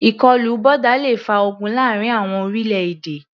Ìkọlù boda le fa ogun láàrin àwọn orílẹ̀-èdè.